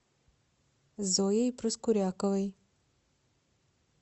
зоей проскуряковой